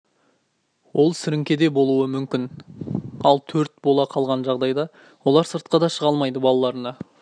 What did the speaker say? ол сіріңке де болуы мүмкін алөрт бола қалған жағдайда олар сыртқа да шыға алмайды балаларына